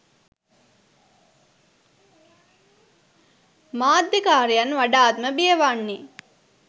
මාධ්‍යකාරයන් වඩාත්ම බියවන්නේ